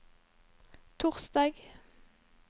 torsdag